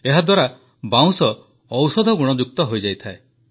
ଏହାଦ୍ୱାରା ବାଉଁଶ ଔଷଧଗୁଣଯୁକ୍ତ ହୋଇଯାଇଥାଏ